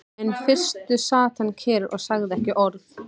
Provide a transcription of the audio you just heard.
En í fyrstu sat hann kyrr og sagði ekki orð.